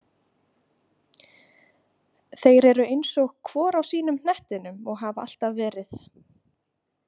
Þeir eru eins og hvor á sínum hnettinum og hafa alltaf verið.